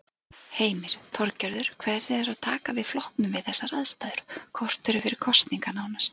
Heimir: Þorgerður, hvernig er að taka við flokknum við þessar aðstæður, korteri fyrir kosningar nánast?